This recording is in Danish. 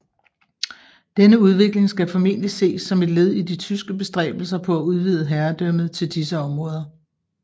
Denne udvikling skal formentlig ses som et led i de tyske bestræbelser på at udvide herredømmet til disse områder